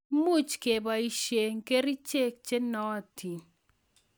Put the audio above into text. much keboishe kerichek che nootin